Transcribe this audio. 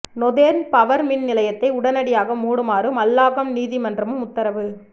northern power மின் நிலையத்தை உடனடியாக மூடுமாறு மல்லாகம் நீதிமன்றமும் உத்தரவு